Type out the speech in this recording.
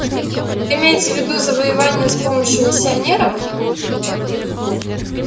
вы имеете в виду завоевание с помощью миссионеров